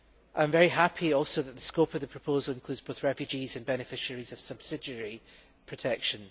I am very happy also that the scope of the proposal includes both refugees and beneficiaries of subsidiary protection.